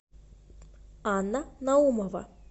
анна наумова